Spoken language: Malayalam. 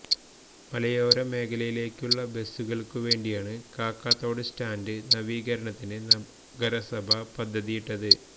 മലയോര മേഖലയിലേക്കുള്ള ബസുകൾക്കു വേണ്ടിയാണ് കാക്കാത്തോട് സ്റ്റാൻഡ് നവീകരണത്തിന് നഗരസഭ പദ്ധതിയിട്ടത്